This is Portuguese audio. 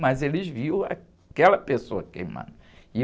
Mas eles viram aquela pessoa queimando.